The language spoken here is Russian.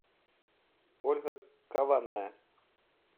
ольга каванная